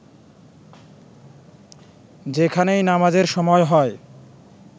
যেখানেই নামাজের সময় হয়